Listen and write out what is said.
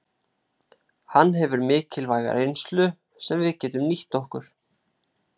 Hann hefur mikilvæga reynslu sem við getum nýtt okkur.